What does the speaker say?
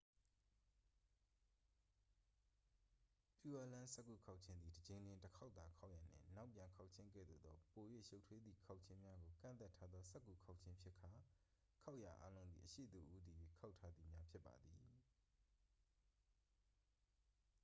pureland စက္ကူခေါက်ခြင်းသည် တစ်ကြိမ်လျှင် တစ်ခေါက်သာခေါက်ရန်နှင့် နောက်ပြန်ခေါက်ခြင်းကဲ့သို့သော ပို၍ရှုပ်ထွေးသည့်ခေါက်ခြင်းများကို ကန့်သတ်ထားသော စက္ကူခေါက်ခြင်းဖြစ်ကာ ခေါက်ရာအားလုံးသည် အရှေ့သို့ဦးတည်၍ခေါက်ထားသည်များဖြစ်ပါသည်